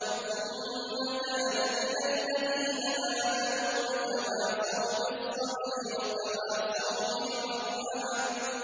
ثُمَّ كَانَ مِنَ الَّذِينَ آمَنُوا وَتَوَاصَوْا بِالصَّبْرِ وَتَوَاصَوْا بِالْمَرْحَمَةِ